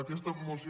aquesta moció